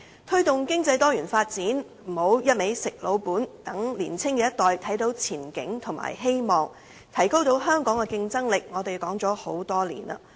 推動經濟多元發展，不要只是"吃老本"，讓年青一代看到前景和希望，提高香港的競爭力，這些我們說了很多年。